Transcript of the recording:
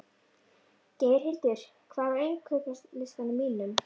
Geirhildur, hvað er á innkaupalistanum mínum?